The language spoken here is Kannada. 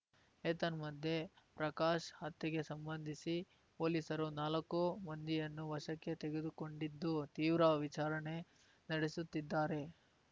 ಏತನ್ಮಧ್ಯೆ ಪ್ರಕಾಶ್‌ ಹತ್ಯೆಗೆ ಸಂಬಂಧಿಸಿ ಪೊಲೀಸರು ನಾಲ್ಕು ಮಂದಿಯನ್ನು ವಶಕ್ಕೆ ತೆಗೆದುಕೊಂಡಿದ್ದು ತೀವ್ರ ವಿಚಾರಣೆ ನಡೆಸುತ್ತಿದ್ದಾರೆ